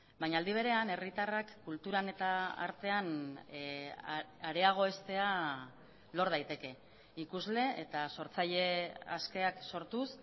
baina aldi berean herritarrak kulturan eta artean areagoeztea lor daiteke ikusle eta sortzaile askeak sortuz